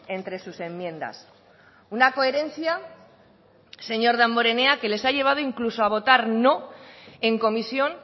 entre sus enmiendas una coherencia señor damborenea que les ha llevado incluso a votar no en comisión